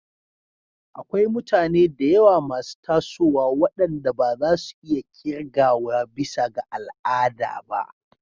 Akwai mutane da yawa masu tasowa waɗanda ba za su iya ƙirgawa bisa ga al'ada ba.